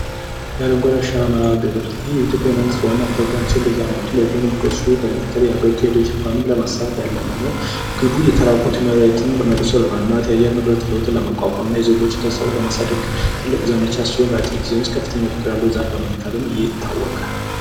የአረንጓዴ አሻራ መርሐ ግብር ይህ የኢትዮጵያ መንግስት ዋና ፕሮግራም ሲሆን በየመቱ በሺዎች የሚቆጠሩ ዛፎችን በምትከል አረንጓዴ መሬትን ለማስፋት በድጋሚ የሚሰራ ነው። ግቡ የተራቆት መሬቶችን መልሶ ለማልማት የአየር ንብረት ለመቋቋምና የዜጎችን የስራ ፍቅር ለማሳደግና በአጭር ጊዜ ውስጥ ከፍተኛ የሆነ ዛፍ በመትከል ይታወቃል።